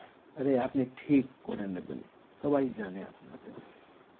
আরে আপনি ঠিক করে নেবেন সবাই জানে আপনাকে